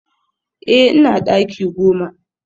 Eh ina daki goma